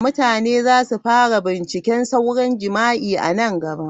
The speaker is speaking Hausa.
Mutane za su fara bincika sauran jima'i a nan gaba.